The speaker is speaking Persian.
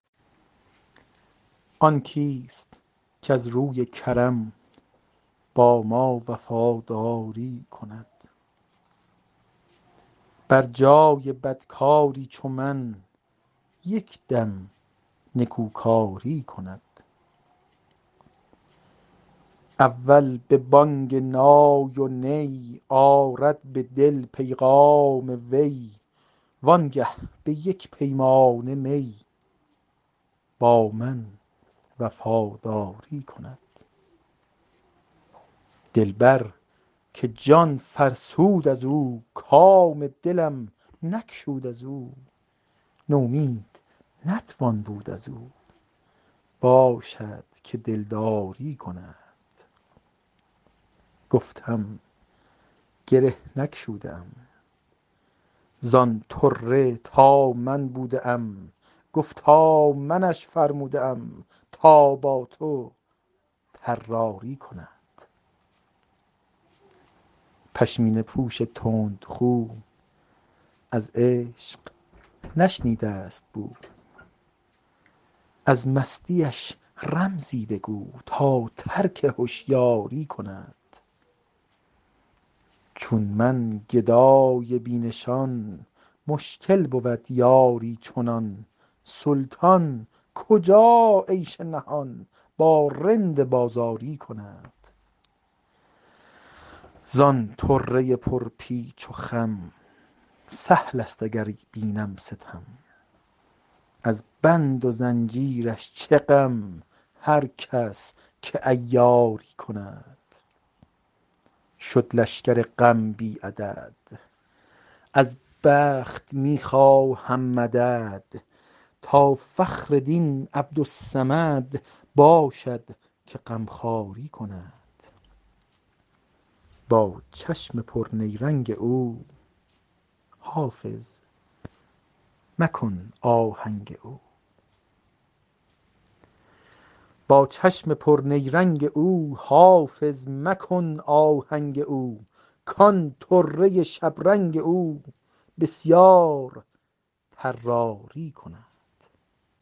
آن کیست کز روی کرم با ما وفاداری کند بر جای بدکاری چو من یک دم نکوکاری کند اول به بانگ نای و نی آرد به دل پیغام وی وانگه به یک پیمانه می با من وفاداری کند دلبر که جان فرسود از او کام دلم نگشود از او نومید نتوان بود از او باشد که دلداری کند گفتم گره نگشوده ام زان طره تا من بوده ام گفتا منش فرموده ام تا با تو طراری کند پشمینه پوش تندخو از عشق نشنیده است بو از مستیش رمزی بگو تا ترک هشیاری کند چون من گدای بی نشان مشکل بود یاری چنان سلطان کجا عیش نهان با رند بازاری کند زان طره پرپیچ و خم سهل است اگر بینم ستم از بند و زنجیرش چه غم هر کس که عیاری کند شد لشکر غم بی عدد از بخت می خواهم مدد تا فخر دین عبدالصمد باشد که غمخواری کند با چشم پرنیرنگ او حافظ مکن آهنگ او کان طره شبرنگ او بسیار طراری کند